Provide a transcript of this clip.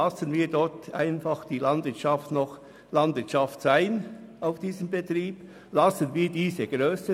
Lassen wir also auf diesem Betrieb die Landwirtschaft noch Landwirtschaft sein, und zwar in dieser Grösse.